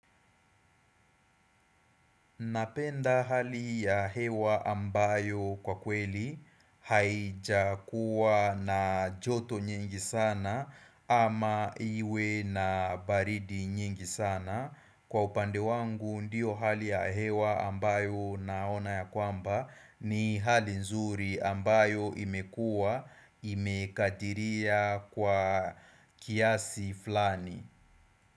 Napenda hali ya hewa ambayo kwa kweli haijakuwa na joto nyingi sana ama iwe na baridi nyingi sana. Kwa upande wangu ndiyo hali ya hewa ambayo naona ya kwamba ni hali nzuri ambayo imekuwa imekadiria kwa kiasi fulani.